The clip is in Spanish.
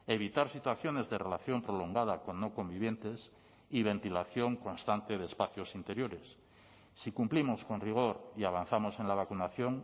evitar situaciones de relación prolongada con no convivientes y ventilación constante de espacios interiores si cumplimos con rigor y avanzamos en la vacunación